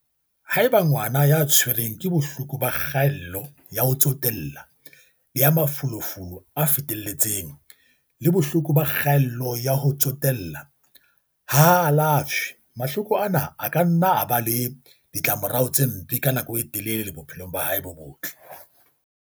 Haeba ngwana ya tshwerweng ke Bohloko ba Kga ello ya ho Tsotella le ya Mafolofolo a Fetele tseng, ADHD, le Bohloko ba Kgaello ya ho Tsote lla, ADD, ha a alafshwe, mahloko ana a ka nna a ba le ditlamorao tse mpe ka nako e telele bophelong ba hae bo botle.